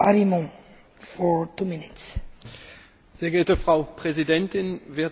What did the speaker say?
Frau Präsidentin, werte Kolleginnen und Kollegen, werte Frau Kommissarin!